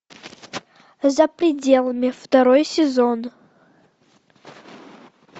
за пределами второй сезон